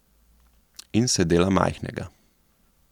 In se dela majhnega.